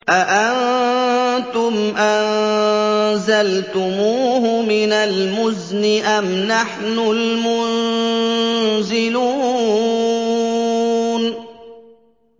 أَأَنتُمْ أَنزَلْتُمُوهُ مِنَ الْمُزْنِ أَمْ نَحْنُ الْمُنزِلُونَ